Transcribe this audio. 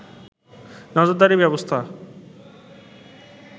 নজরদারির ব্যবস্থা